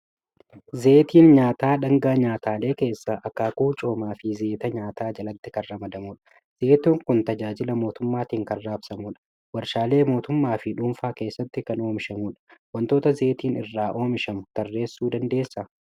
Zayitiin nyaataa dhaangaa nyaataalee keessaa akaakuu coomaa fi zayita nyaataa jalatti kan ramadamudha. Zayitiin kun tajaajila mootummaatiin kan raabsamudha. Waarshaalee mootummaa fi dhuunfaa keessatti kan oomishamudha. Waantota zayitiin irraa oomishamu tarreessuu dandeessaa?